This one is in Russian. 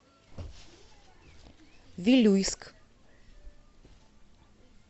вилюйск